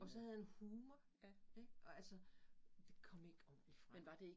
Og så havde han humor ik og altså det kom ikke ordentligt frem